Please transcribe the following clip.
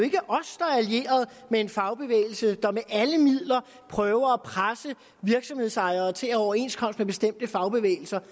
allieret med en fagbevægelse der med alle midler prøver at presse virksomhedsejere til at have overenskomst med bestemte fagbevægelser